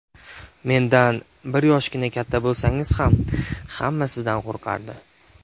Mendan bir yoshgina katta bo‘lsangiz ham hamma sizdan qo‘rqardi.